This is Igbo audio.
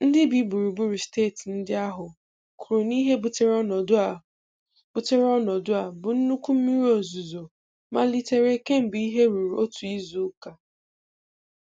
Ndị bi gburugburu steeti ndị ahụ kwuru na ihe butere ọnọdụ a butere ọnọdụ a bụ nnukwu mmiri ozuzo malitere kemgbe ihe ruru otu izuụka.